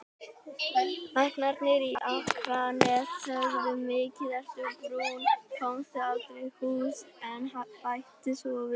Læknarnir á Akranesi sögðu: Mikið ertu brúnn, komstu aldrei í hús, en bættu svo við